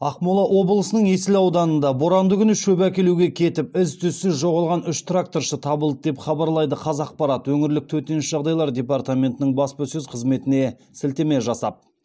ақмола облысының есіл ауданында боранды күні шөп әкелуге кетіп із түзсіз жоғалған үш тракторшы табылды деп хабарлайды қазақпарат өңірлік төтенше жағдайлар департаментінің баспасөз қызметіне сілтеме жасап